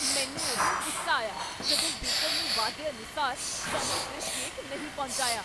ਮੈਨੂੰ ਉਦੋਂ ਗੁੱਸਾ ਆਇਆ ਜਦੋਂ ਬੇਕਰ ਨੇ ਵਾਅਦੇ ਅਨੁਸਾਰ ਸਮੇਂ ਸਿਰ ਕੇਕ ਨਹੀਂ ਪਹੁੰਚਾਇਆ।